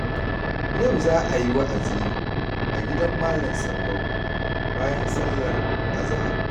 Yau za a yi wa'azi a gidan Malam Sallau bayan sallar Azahar